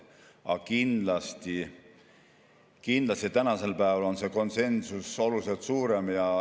Aga kindlasti tänasel päeval on see konsensus oluliselt suurem.